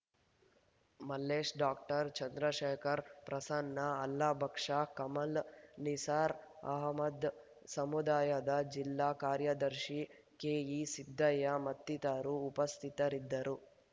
Mallesh doctor Chandrashekhar Prasanna ಅಲ್ಲಾ ಭಕಾಷ್ ಕಮಲ್ ನಿಸಾರ್ ಅಹಮದ್ ಸಮುದಾಯದ ಜಿಲ್ಲಾ ಕಾರ್ಯದರ್ಶಿ ಕೆಈಸಿದ್ದಯ್ಯ ಮತ್ತಿತರರು ಉಪಸ್ಥಿತರಿದ್ದರು